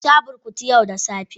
Ka sha burkutu yau da safe?